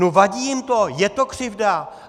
No vadí jim to, je to křivda!